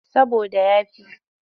Saboda ya fi.